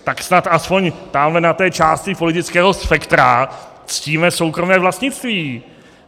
Tak snad aspoň tamhle na té části politického spektra ctíme soukromé vlastnictví.